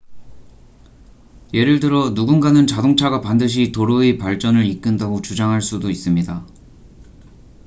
예를 들어 누군가는 자동차가 반드시 도로의 발전을 이끈다고 주장할 수도 있습니다